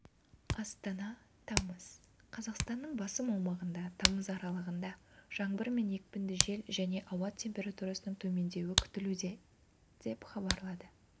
астана тамыз қаз қазақстанның басым аумағында тамыз аралығында жаңбыр мен екпінді жел және ауа температурасының төмендеуі күтілуде деп хабарлады